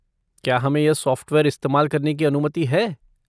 क्या हमें यह सॉफ़्टवेयर इस्तेमाल करने की अनुमति है?